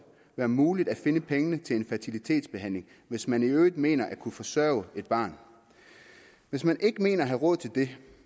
være muligt at finde pengene til en fertilitetsbehandling hvis man i øvrigt mener at kunne forsørge et barn hvis man ikke mener at have råd til det